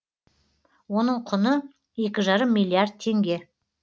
оның құны екі жарым миллиард теңге